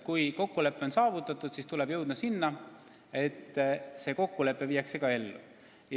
Kui kokkulepe on saavutatud, siis tuleb jõuda selleni, et see viiakse ka ellu.